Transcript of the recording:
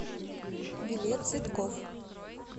билет цветкофф